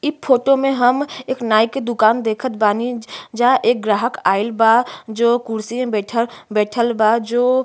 इ फोटो में हम एक नाई के दुकान देखत बानी। जहा एक ग्राहक आईल बा जो कुर्सी में बइठल बइठल बा जो --